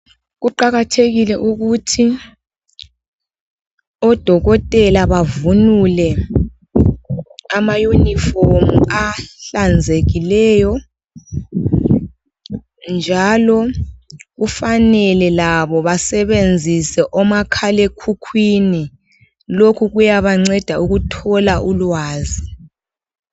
Kuqakathekile ukuthi odokotela bavunule amayunifomu ahlanzekileyo njalo kufanele labo basebenzise omakhalekhukhwini. Lokhu kuyabanceda ukuthola ulwazi.